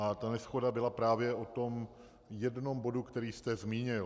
A ta neshoda byla právě o tom jednom bodu, který jste zmínil.